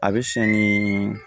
A bɛ siyɛn ni